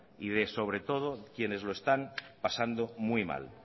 y de sobre todo quienes lo están pasando muy mal